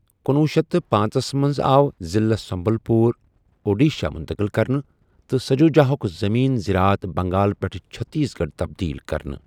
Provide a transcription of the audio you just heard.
کنُوُہ شیتھ تہٕ پانژَس مَنٛز آو ضِلعہ سُمبَل پوٗر اوڈیٖشَہ مٗنتقل كرنہٕ تہٕ سَجوٗجاہُک زٔمیٖن زِرات بَنٛگال پٮ۪ٹھ چٕھتیٖس گَڑھ تَبدیٖل كرنہٕ ۔